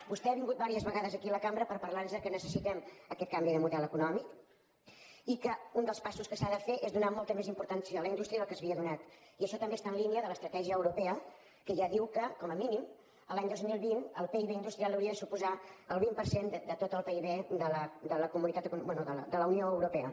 vostè ha vingut diverses vegades aquí a la cambra per parlar nos que necessitem aquest canvi de model econòmic i que un dels passos que s’ha de fer és donar molta més importància a la indústria del que s’havia donat i això també està en línia de l’estratègia europea que ja diu que com a mínim l’any dos mil vint el pib industrial hauria de suposar el vint per cent de tot el pib de la unió europea